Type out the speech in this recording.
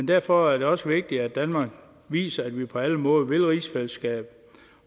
derfor er det også vigtigt at danmark viser at vi på alle måder vil rigsfællesskabet